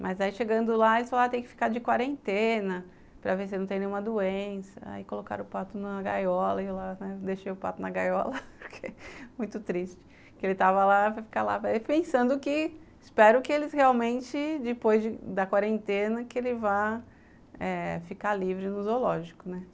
mas aí chegando lá, eles falaram, tem que ficar de quarentena para ver se ele não tem nenhuma doença, aí colocaram o pato na gaiola, e eu lá, né, deixei o pato na gaiola, porque é muito triste que ele estava lá, para ficar lá, pensando que espero que eles realmente, depois da quarentena, que ele vá eh ficar livre no zoológico, né?